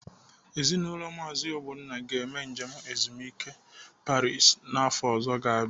Ezinaụlọ Maazi Ogbonna ga-eme njem ezumike a Paris afọ ọzọ ga-abịanu.